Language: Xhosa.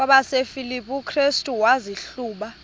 kwabasefilipi restu wazihluba